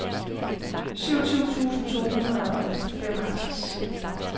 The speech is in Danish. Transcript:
syvogtyve tusind to hundrede og femoghalvtreds